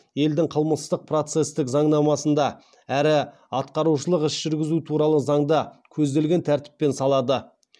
елдің қылмыстық процестік заңнамасында әрі атқарушылық іс жүргізу туралы заңда көзделген тәртіппен салады